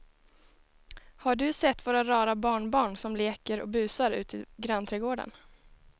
Har du sett våra rara barnbarn som leker och busar ute i grannträdgården!